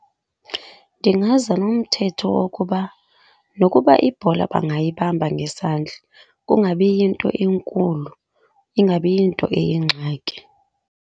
Ndingaza nomthetho wokuba nokuba ibhola bangayibamba ngesandla kungabi yinto enkulu, ingabi yinto eyingxaki.